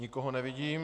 Nikoho nevidím.